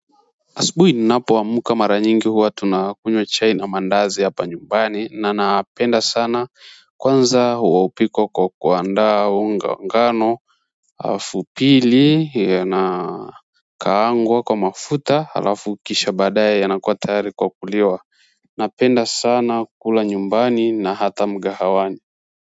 Asubuhi ninapoamka mara nyingi huwa tunakunywa chai na mandazi hapa nyumbani na napenda sana kwanza huwa hupikwa kwa kuandaa unga wa ngano alafu pili yana kaangwa kwa mafuta alafu kisha baadaye yanakuwa tayari kwa kuliwa napenda sana kula nyumbani na hata mgahawani.